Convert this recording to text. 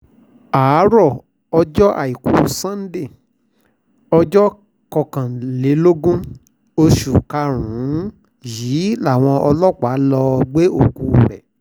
àárọ̀ ọjọ́ àìkú sannde ọjọ́ kọkànlélógún oṣù karùn-ún yìí làwọn ọlọ́pàá lọ́ọ́ gbé òkú rẹ̀